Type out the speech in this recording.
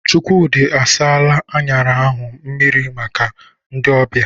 Chukwudi asaala aṅara ahụ mmiri maka ndị ọbịa.